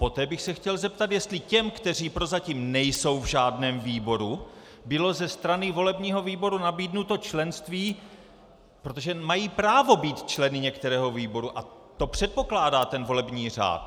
Poté bych se chtěl zeptat, jestli těm, kteří prozatím nejsou v žádném výboru, bylo ze strany volebního výboru nabídnuto členství, protože mají právo být členy některého výboru a to předpokládá ten volební řád.